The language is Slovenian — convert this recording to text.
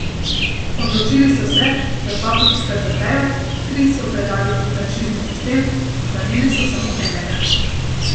Odločili so se, da dva butika zaprejo, tri so predali v franšizni sistem, ohranili so samo enega.